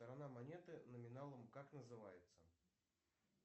сторона монеты номиналом как называется